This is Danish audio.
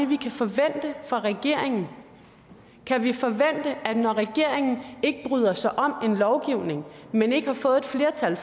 vi kan forvente fra regeringen kan vi forvente at når regeringen ikke bryder sig om en lovgivning men ikke har fået et flertal i